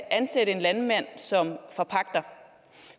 ansætte en landmand som forpagter